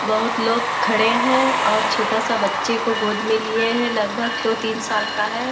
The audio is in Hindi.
बहोत लोग खड़े हैं और छोटा-सा बच्चे को गोद में लिए हैं। लगभग दो-तीन साल का है।